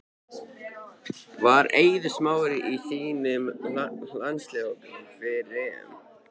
Væri Eiður Smári í þínum landsliðshóp fyrir EM?